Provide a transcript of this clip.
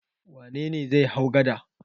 Wane ne zai hau gada?